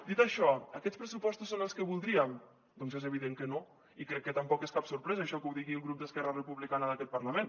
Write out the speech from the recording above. dit això aquests pressupostos són els que voldríem doncs és evident que no i crec que tampoc és cap sorpresa això que ho digui el grup d’esquerra republicana d’aquest parlament